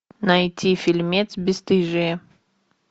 найти фильмец бесстыжие